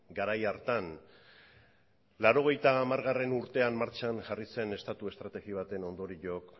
garai hartan laurogeita hamargarrena urtean martxan jarri zen estatu estrategia baten ondorioak